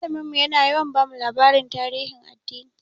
Malamin mu yana yawa bamu labaran tarihin addini.